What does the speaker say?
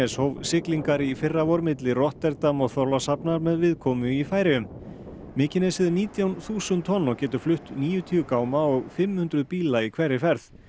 Mykines hóf siglingar í fyrravor milli Rotterdam og Þorlákshafnar með viðkomu í Færeyjum mykinesið er nítján þúsund tonn og getur flutt níutíu gáma og fimm hundruð bíla í hverri ferð